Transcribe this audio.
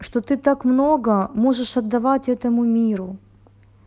что ты так много можешь отдавать этому миру